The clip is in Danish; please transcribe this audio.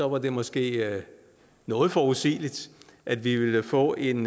var det måske noget forudsigeligt at vi ville få en